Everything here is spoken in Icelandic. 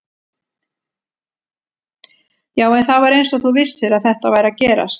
Já, en það var eins og þú vissir að þetta væri að gerast